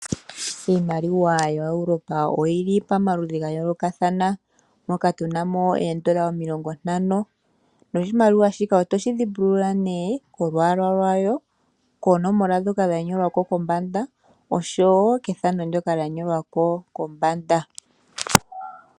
Iimaliwa ya Europa oyili pamaludhi ga yoolokathana, moka tuna mo ooeuro omilongo ntano, noshimaliwa shika otoshi dhimbulula nee kolwaala lwawo, konomola ndhoka dha nyolwa ko kombanda oshowo kethano ndoka lya nyolwa ko kombanda.